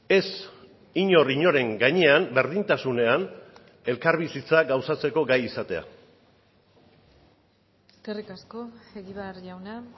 ez inor inoren gainean berdintasunean elkarbizitza gauzatzeko gai izatea eskerrik asko egibar jauna